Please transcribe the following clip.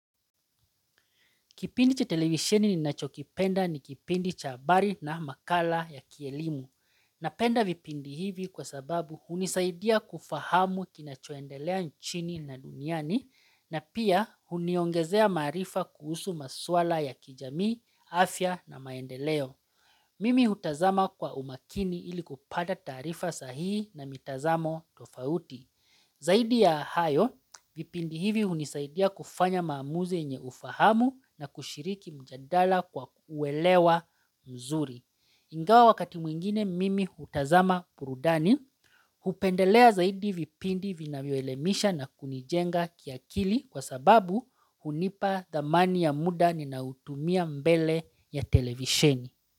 Kipindi cha televisioni ninachokipenda ni kipindi cha habari na makala ya kielimu. Napenda vipindi hivi kwa sababu hunisaidia kufahamu kinachoendelea nchini na duniani na pia huniongezea maarifa kuhusu maswala ya kijamii, afya na maendeleo. Mimi hutazama kwa umakini ili kupata taarifa sahihi na mitazamo tofauti. Zaidi ya hayo, vipindi hivi hunisaidia kufanya maamuzi yenye ufahamu na kushiriki mjandala kwa uwelewa mzuri. Ingawa wakati mwingine mimi hutazama burudani, hupendelea zaidi vipindi vinavyo elemisha na kunijenga kiakili kwa sababu hunipa dhamani ya muda ni nautumia mbele ya televisheni.